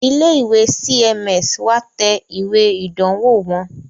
Ilé ìwé CMS wá tẹ ìwé ìdánwò wọn